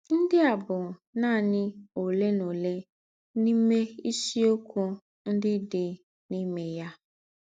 Ńdị a bụ̀ nánị òlé nà òlé n’ìmé ìsìokwu ńdị dị n’ìmé yà.